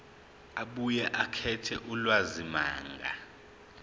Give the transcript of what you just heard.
abuye akhethe ulwazimagama